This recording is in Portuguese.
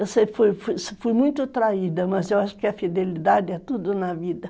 Eu sempre fui muito traída, mas eu acho que a fidelidade é tudo na vida.